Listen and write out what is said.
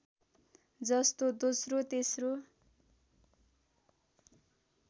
जस्तो दोस्रो तेस्रो